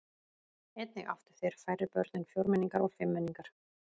Einnig áttu þeir færri börn en fjórmenningar og fimmmenningar.